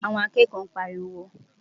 Àwọn akẹ́kọ̀ọ́ ń pariwo.